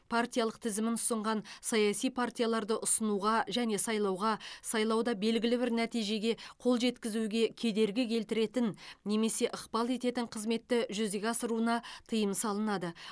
партиялық тізімін ұсынған саяси партияларды ұсынуға және сайлауға сайлауда белгілі бір нәтижеге қол жеткізуге кедергі келтіретін немесе ықпал ететін қызметті жүзеге асыруына тыйым салынады